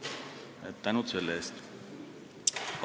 Aitäh selle eest!